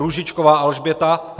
Růžičková Alžběta